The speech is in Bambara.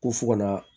Ko fo ka na